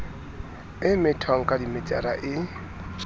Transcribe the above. e methwang ka dimetara e